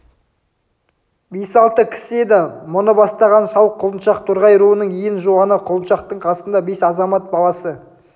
бес-алты кісі еді мұны бастаған шал құлыншақ торғай руының ең жуаны құлыншақтың қасында бес азамат баласы